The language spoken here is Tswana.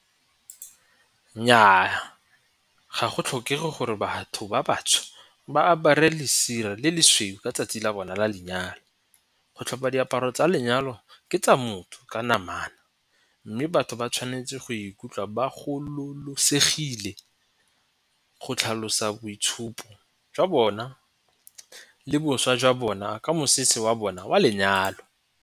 Nnyaa ga go tlhokege gore batho ba batsho ba apare lesire le lesweu ka 'tsatsi la bona la lenyalo. Go tlhopa diaparo tsa lenyalo ke tsa motho ka namana. Mme batho ba tshwanetse go ikutlwa ba gololosegile go tlhalosa boitshupo jwa bona le boswa jwa bona ka mosese wa bona wa lenyalo.